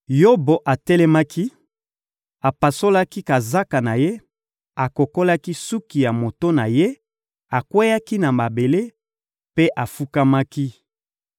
Yobo atelemaki, apasolaki kazaka na ye, akokolaki suki ya moto na ye, akweyaki na mabele mpe afukamaki.